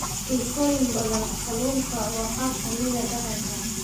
Bulshooyin badan, kalluunka waa qayb ka mid ah dhaqanka.